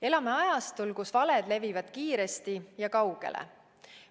Elame ajastul, kus valed levivad kiiresti ja kaugele.